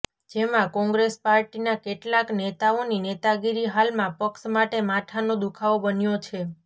જેમાં કોંગ્રેસ પાર્ટીના કેટલાંક નેતાઓની નેતાગીરી હાલમાં પક્ષ માટે માથાનો દુઃખાવો બન્યો છે